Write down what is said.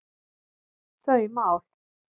þau mál.